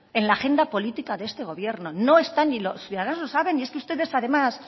en la agenda política de este gobierno no están y los ciudadanos lo saben y es que ustedes además